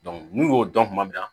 n'u y'o dɔn kuma min na